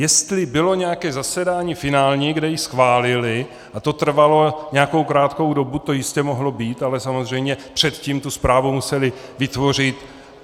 Jestli bylo nějaké zasedání finální, kde ji schválili, a to trvalo nějakou krátkou dobu, to jistě mohlo být, ale samozřejmě předtím tu zprávu museli vytvořit.